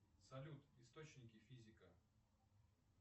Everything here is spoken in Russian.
салют источники физика